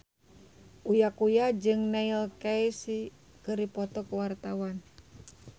Uya Kuya jeung Neil Casey keur dipoto ku wartawan